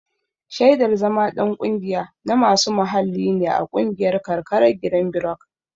Shaidar zama ɗan ƙungiya na masu muhalli ne a ƙungiyar karkarar girinbirok.